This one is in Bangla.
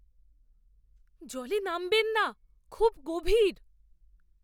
জলে নামবেন না। খুব গভীর!